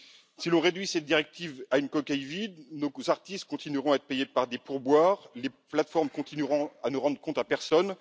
Si l'on réduit cette directive à une coquille vide, nos artistes continueront à être payés par des pourboires et les plateformes continueront à ne rendre de comptes à personne.